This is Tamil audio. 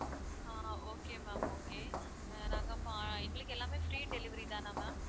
ஆஹ் okay ma'am okay ஆஹ் நாங்க பா~ எங்களுக்கு எல்லாமே free delivery தான ma'am